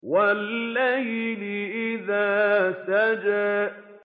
وَاللَّيْلِ إِذَا سَجَىٰ